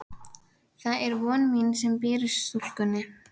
Það er von mín sem býr í stúlkunni.